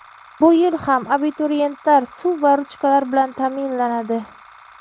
Bu yil ham abituriyentlar suv va ruchkalar bilan taʼminlanadi.